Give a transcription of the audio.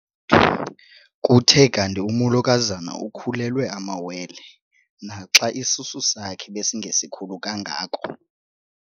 Kuthe kanti umolokazana ukhulelwe amawele naxa isisu sakhe besingesikhulu kangako.